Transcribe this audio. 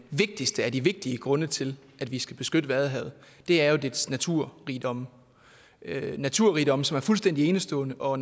vigtigste af de vigtige grunde til at vi skal beskytte vadehavet er jo dets naturrigdomme naturrigdomme som er fuldstændig enestående og